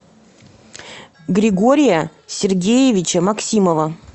григория сергеевича максимова